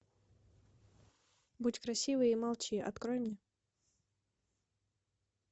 будь красивой и молчи открой мне